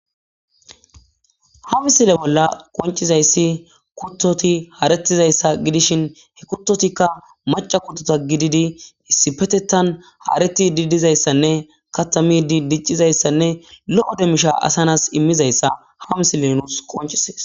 ha misile bolla qoncizayssi kuttoti haretizayssa gidishin he kuttotikka maca kuttota gididi issipetetan haareti didizayssanne katamidi diccizayssanne lo7o demmisha asanas immizayssa ha misile nuus qoncisees